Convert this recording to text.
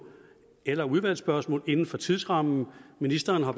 eller udvalgsspørgsmål inden for tidsrammen ministeren har